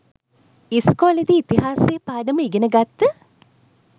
ඉස්කෝලෙදි ඉතිහාසය පාඩම ඉගෙන ගත්ත